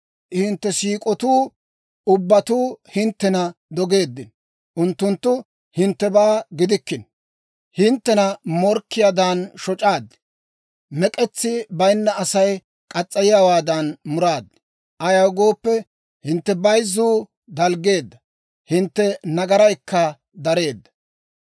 Hintte siik'otuu ubbatuu hinttena dogeeddino; unttunttu hinttebaa giddikkino. Hinttena morkkiyaadan shoc'aad; mek'etsi bayinna Asay muriyaawaadan muraaddi. Ayaw gooppe, hintte bayzzuu dalggeedda; hintte nagaraykka dareedda.